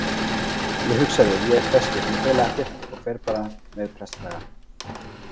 Ég hugsaði: Ég er prestur, ég fel ekkert og fer bara með prestakragann.